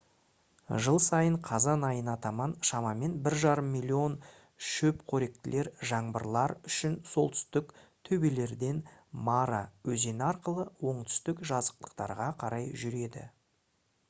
жыл сайын қазан айына таман шамамен 1,5 миллион шөпқоректілер жаңбырлар үшін солтүстік төбелерден мара өзені арқылы оңтүстік жазықтықтарға қарай жүреді